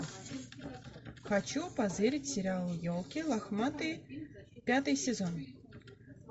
хочу позырить сериал елки лохматые пятый сезон